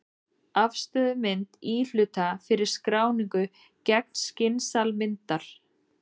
Afstöðumynd íhluta fyrir skráningu gegnskins-almyndar.